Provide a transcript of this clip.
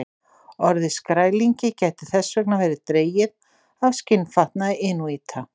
Orðið skrælingi gæti þess vegna verið dregið af skinnfatnaði inúíta.